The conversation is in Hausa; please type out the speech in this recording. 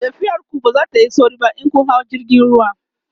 tafiyar ku ba zatayi sauri ba in kin hau jirgin ruwa